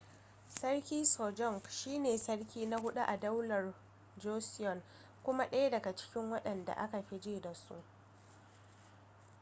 sarki sajong shi ne sarki na huɗu a daular joseon kuma ɗaya daga cikin waɗanda aka fi ji da su